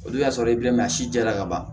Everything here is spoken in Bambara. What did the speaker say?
Olu y'a sɔrɔ e a si jɛra ka ban